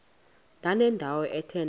ndanendawo ethe nethe